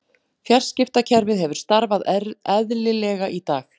Fjarskiptakerfið hefur starfað eðlilega í dag